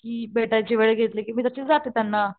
कि भेटायची वेळ घेतली कि तशी मी जाते त्यांना.